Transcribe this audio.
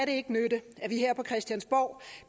det ikke nytte at vi her på christiansborg